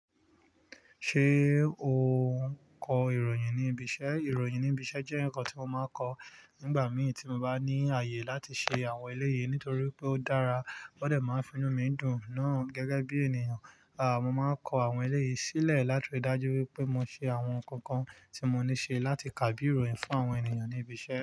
Ṣé ò ń kọ ìròyìn ní ibi iṣẹ́? Ìròyìn ní ibi iṣẹ́ jẹ́ ǹkan tí mo máa ń kọ nígbà mìí tí mo bá ní ààyè láti ṣe àwọn eléyè nítorí pé ó dára. Ó dẹ̀ máa ń finú mi dùn náà gẹ́gẹ́ bí ènìyàn. Aà, mo máa ń kọ àwọn eléyi sílẹ̀ láti ri dajú wípé mo ṣe àwọn ǹkan kan tí mo ní ṣe láti kà bí ìròyìn fún àwọn ènìyàn ní ibi iṣẹ́.